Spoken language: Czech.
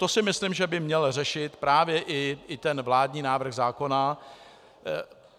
To si myslím, že by měl řešit právě i ten vládní návrh zákona.